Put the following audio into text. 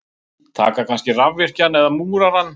Taka kannski rafvirkjann eða múrarann.